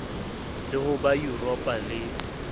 le ho ba yuropa le